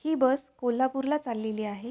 ही bus कोल्हापूरला चाललेली आहे.